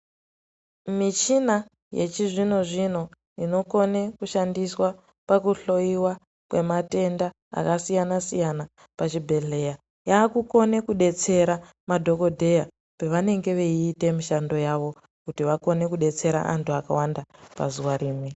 Michina yechizvinozvino inokone kushandiswa pakuhloyiwa kwematenda akasiyanasiyana pachibhehleya yaakukone kudetsera madhokodheya pevanenge veite mishando yavo kuti vakone kudetsera vantu vakawanda pazuwa rimwe.